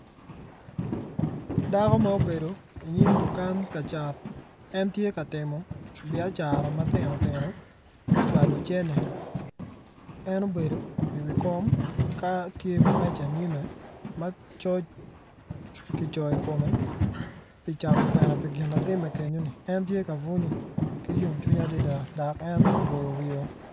Dako ma obedo inyim dukan ka cat en tye ka timo biacara matino tino me cwalo cene en obedo iwi kom ka tye iwi meja inyime ma coc kicoyo i kome pi cato kwena pii gin atime kenyoni en tye ka bunyo ki yomcwiny adada dok ene oboyo wiyeo.